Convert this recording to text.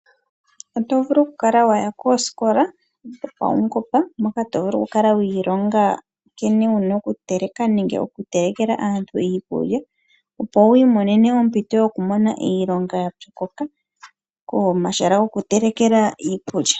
Oto vulu okukala wa ya koosikola dhopaungomba hoka to vulu okukala wi ilonga nkene wu na okuteleka nenge okutelekela aantu iikulya, opo wi imonene ompito yokumona iilonga ya pyokoka komahala goku telekela iikulya.